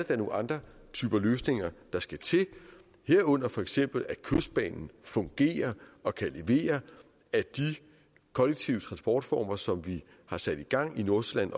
da nogle andre typer løsninger der skal til herunder for eksempel at kystbanen fungerer og kan levere at de kollektive transportformer som vi har sat i gang i nordsjælland